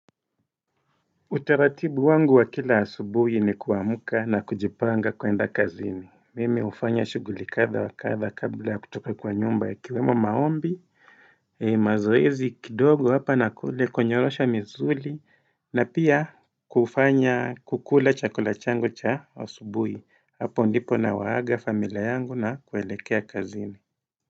Utaratibu wangu wa kila asubuhi ni kuamka na kujipanga kuenda kazini. Mimi ufanya shuguli katha wa katha kabla kutoka kwa nyumba ikiwemo maombi, mazoezi kidogo hapa nakule, kunyolosha misuli, na pia kufanya kukula chakula changu cha asubuhi. Hapo ndipo nawaaga familia yangu na kuelekea kazini.